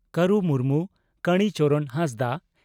ᱠᱟᱹᱨᱩ ᱢᱩᱨᱢᱩ ᱠᱟᱲᱤ ᱪᱚᱨᱚᱱ ᱦᱟᱸᱥᱫᱟᱜ